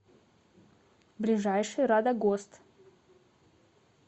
ближайший радогост